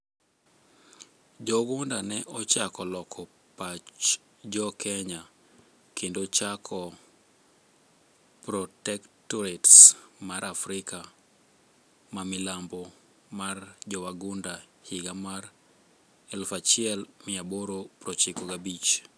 Jowagunda ne ochako loko pach jo kenya kendo chako Protectotarate mar Afrika ma milambo mar jowagunda higa mar 1895